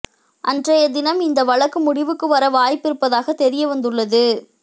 அன்றையதினம் இந்த வழக்கு முடிவுக்குவர வாய்ப்பு இருப்பதாக தெரிய வந்துள்ளது